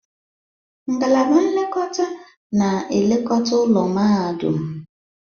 Ngalaba nlekọta na-elekọta ụlọ mahadum.